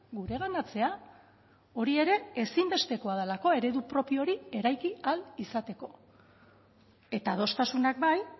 gureganatzea hori ere ezinbestekoa delako eredu propio hori eraiki ahal izateko eta adostasunak bai